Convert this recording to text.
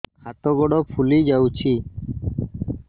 ହାତ ଗୋଡ଼ ଫୁଲି ଯାଉଛି